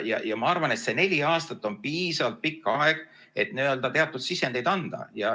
Ja ma arvan, et see neli aastat on piisavalt pikk aeg, et teatud sisendeid anda.